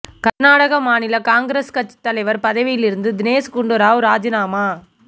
கர்நாடக மாநில காங்கிரஸ் கட்சித் தலைவர் பதவிலிருந்து தினேஷ் குண்டு ராவ் ராஜினாமா